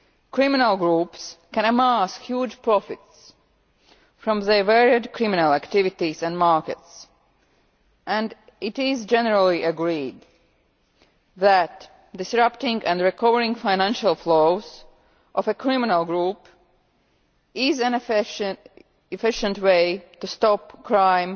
Criminal groups can amass huge profits from the various criminal activities and markets, and it is generally agreed that disrupting and recovering the financial flows of a criminal group is an efficient way to stop crime